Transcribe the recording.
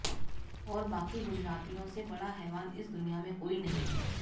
और बाकी गुजरातियों से बड़ा हैवान इस दुनिया में कोई नहीं